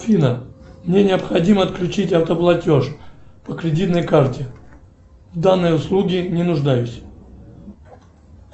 афина мне необходимо отключить автоплатеж по кредитной карте в данной услуге не нуждаюсь